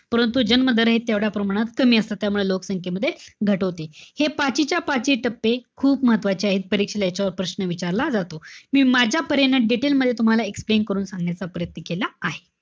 परंतु जन्म दर हे तेवढ्या प्रमाणात कमी असतात त्यामुळे लोकसंख्येमध्ये घट होते. हे पाचीच्या-पाची टप्पे खूप महत्वाचे आहेत परीक्षेला याच्यावर प्रश्न विचारला जातो. मी माझ्या परेनं जेवढं detail मध्ये तुम्हाला explain करून सांगायचा प्रयत्न केला आहे.